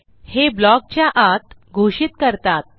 हे ब्लॉक च्या आत घोषित करतात